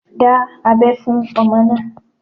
Dá abẹ́ fún ọmọ náà.